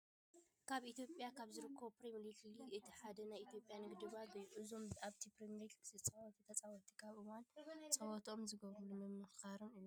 ኣብ ኢትዮጵያ ካብ ዝርከቡ ፕሪሚየር ሊግ እቲ ሓደ ናይ ኢትዮጵያ ንግዲ ባንኪ እዩ። እዞም ኣብቲ ፕሪሚየር ሊግ ዝፃወቱ ተፃወትቲ ኣብ እዋን ፅዋትኦም ዝገብርሉ ምምክከኻር እዩ።